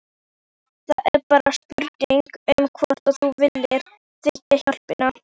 Það er bara spurning um hvort þú viljir þiggja hjálpina.